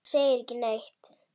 Hann segir ekki neitt.